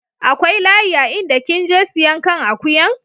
Akwai layi a inda kin je siyan kan akuyan?